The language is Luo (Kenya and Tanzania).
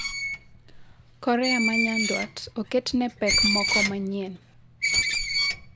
Korea ma Nyanduat oketne ne pek moko manyien